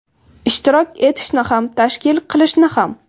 Ishtirok etishni ham, tashkil qilishni ham.